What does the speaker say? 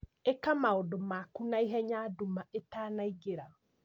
Ĩka maũndũ maku naihenya nduma ĩtanaingĩra